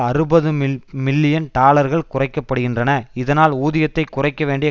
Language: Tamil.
அறுபது மில்லியன் டாலர்கள் குறைக்க படுகின்றன இதனால் ஊதியத்தை குறைக்க வேண்டிய